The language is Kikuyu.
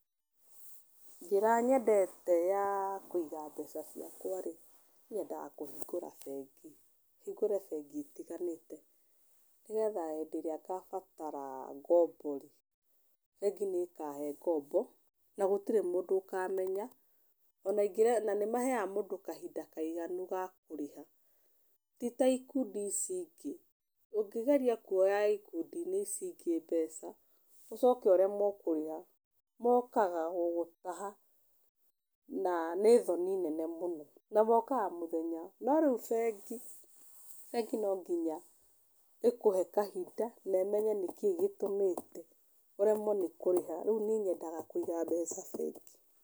Njĩra nyendete ya kũiga mbeca ciakwa rĩ, nyendaga kũhingũra bengi. Hingũre bengi itiganĩte, nĩ getha hĩndĩ ĩrĩa ngabatara ngombo rĩ, bengi nĩ ĩkahe ngombo na gũtirĩ mũndũ ũkamenya, na nĩ maheaga mũndũ kahinda kaiganu ga kũrĩha. Ti ta ikundi ici ingĩ, ũngĩgeria kuoya ikundi-inĩ ici ingĩ mbeca, ũcoke ũremwo kũrĩha, mokaga gũgũtaha na nĩ thoni nene mũno, na mokaga mũthenya. No rĩu bengi, bengi no nginya ĩkũhe kahinda na ĩmenye nĩkĩĩ gĩtũmĩte ũremwo nĩ kũrĩha. Rĩu niĩ nyenda kũiga mbeca bengi.